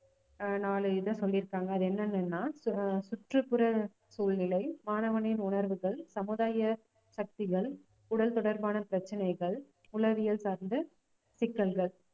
ஆஹ் நாலு இதை சொல்லி இருக்காங்க அது என்னன்னுன்னா ஆஹ் சுற்றுப்புற சூழ்நிலை, மாணவனின் உணர்வுகள், சமுதாய சக்திகள், உடல் தொடர்பான பிரச்சனைகள், உளவியல் சார்ந்த சிக்கல்கள்